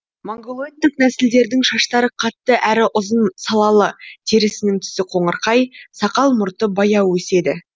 монголоидтік нәсілдердің шаштары қатты әрі ұзын салалы терісінің түсі қоңырқай сақал мұрты баяу өседі